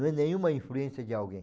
Não é nenhuma influência de alguém.